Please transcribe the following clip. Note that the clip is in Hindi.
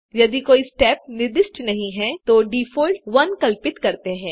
यदि कोई स्टेप निर्दिष्ट नहीं है तो डिफ़ॉल्ट 1 कल्पित करते हैं